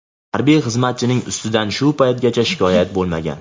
harbiy xizmatchining ustidan shu paytgacha shikoyat bo‘lmagan.